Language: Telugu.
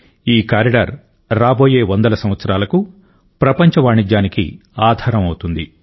ఈ కారిడార్ రాబోయే వందల సంవత్సరాలకు ప్రపంచ వాణిజ్యానికి ఆధారం అవుతుంది